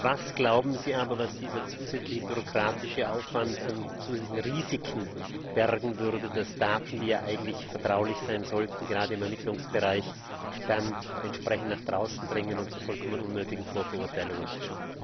Was glauben Sie aber, was dieser zusätzliche bürokratische Aufwand an zusätzlichen Risiken bergen würde, dass Daten, die ja eigentlich vertraulich sein sollten, gerade im Ermittlungsbereich dann entsprechend nach draußen dringen und zu vollkommen unnötigen Vorverurteilungen führen?